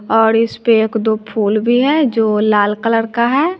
और इस पे एक दो फूल भी है जो लाल कलर का है।